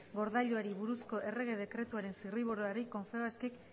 gordailuari buruzko errege dekretuaren zirriborroari confebaskek